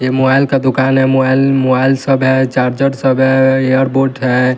यह मोबाइल का दुकान है मोबाइल मोबाइल सब है चार्जर सब है एयर बोर्ड है।